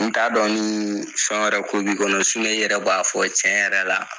N t'a dɔn nii fɛn wɛrɛ ko b'i kɔnɔ s sinɔn i yɛrɛ b'a fɔ cɛn yɛrɛ la